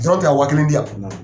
tɛ ka wa kelen di yan